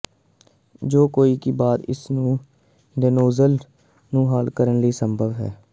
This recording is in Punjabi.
ਜੋ ਕਿ ਬਾਅਦ ਇਸ ਨੂੰ ਦੇਨੌਜ਼ਲ ਨੂੰ ਹੱਲ ਕਰਨ ਲਈ ਸੰਭਵ ਹੈ